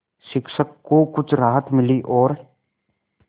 शिक्षक को कुछ राहत मिली और